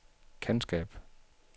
kendskab